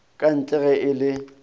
kantle le ge e le